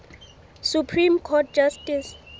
supreme court justice